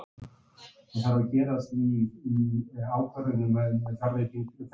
Er þetta vandræðalegt fyrir hann og ríkisstjórnina?